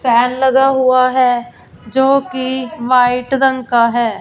Fan लगा हुआ है जोकि वाइट रंग का है।